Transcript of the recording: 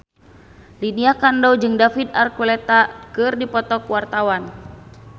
Lydia Kandou jeung David Archuletta keur dipoto ku wartawan